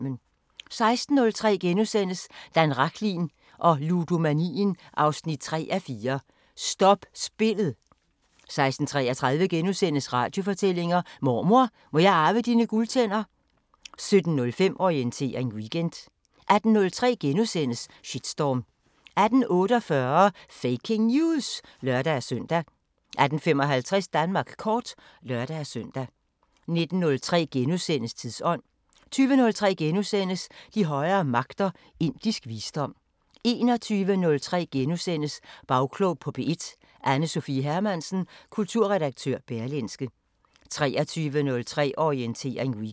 16:03: Dan Rachlin og ludomanien 3:4 – Stop spillet * 16:33: Radiofortællinger: Mormor, må jeg arve dine guldtænder? * 17:05: Orientering Weekend 18:03: Shitstorm * 18:48: Faking News! (lør-søn) 18:55: Danmark kort (lør-søn) 19:03: Tidsånd * 20:03: De højere magter: Indisk visdom * 21:03: Bagklog på P1: Anne Sophia Hermansen, kulturredaktør Berlingske * 23:03: Orientering Weekend